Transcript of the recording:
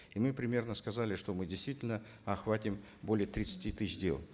и мы примерно сказали что мы действительно охватим более тридцати тысяч дел